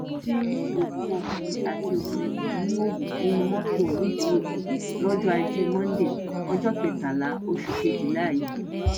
ti rí òkú ọkùnrin àti obìnrin kan níhòòhò nínú mọtò nìdírókò lọjọ ajé monde ọjọ kẹtàlá oṣù kejìlá yìí